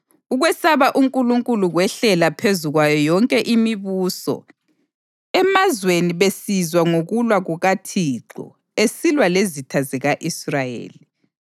Ukwesaba uNkulunkulu kwehlela phezu kwayo yonke imibuso emazweni besizwa ngokulwa kukaThixo esilwa lezitha zika-Israyeli.